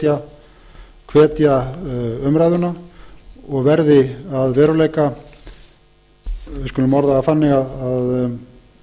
að rekja umræðu og verði að veruleika við skulum orða það þannig að